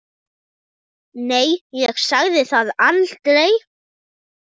Nei, ég sagði það aldrei.